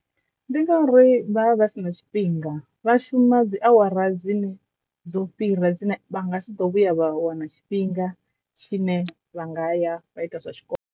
Ndi ngauri vha vha vha si na tshifhinga vha shuma dzi awara dzine dzo fhira dzine vha nga si ḓo vhuya vha wana tshifhinga tshi ne vha nga ya vha ita zwa tshikolo.